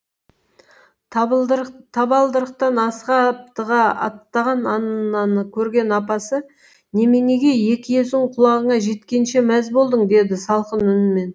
табалдырықтан асыға аптыға аттаған аннаны көрген апасы неменеге екі езуің құлағыңа жеткенше мәз болдың деді салқын үнмен